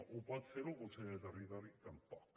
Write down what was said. ho pot fer el conseller de territori tampoc